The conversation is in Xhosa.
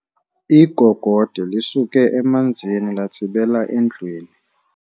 Igogode lisuke emanzini latsibela endlwini.